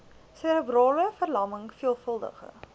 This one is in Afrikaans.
serebrale verlamming veelvuldige